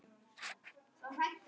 Þú veist að hann.